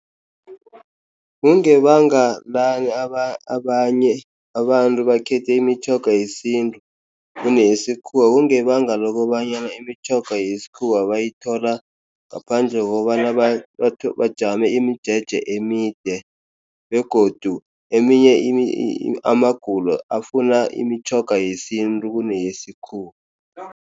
Kungebanga lani abanye abantu bakhetha imitjhoga yesintu kuneyesikhuwa? Kungebanga lokobana imitjhoga yesikhuwa bayithola ngaphandle kokobana bajame imijeje emide, begodu eminye amagulo afuna imitjhoga yesintu kuneyesikhuwa.